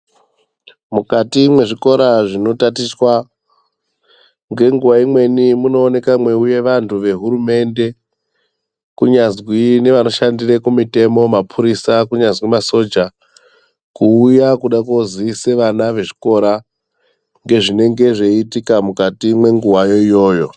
Mukati mwezvikora, zvinotatichwa, ngenguwa imweni munooneka mweiuya vanthu vehurumende, kunyazwi nevanoshandira kumutemo mapurisa, kunyazwi masoja, kuuya kuda kooziisa vana vechikora, ngezvinenge zviitika mukati mwenguwa yo, iyoyo.